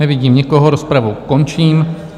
Nevidím nikoho, rozpravu končím.